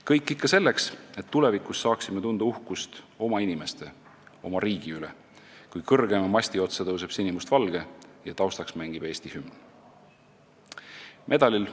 Kõik ikka selleks, et tulevikus saaksime tunda uhkust oma inimeste, oma riigi üle, kui kõrgeima masti otsa tõuseb sinimustvalge ja taustaks mängib Eesti hümn.